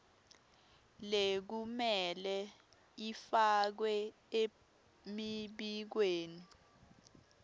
lekumele ifakwe emibikweni